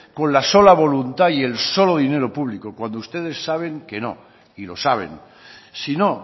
con la sola voluntad y el solo dinero público cuando ustedes saben que no y lo saben si no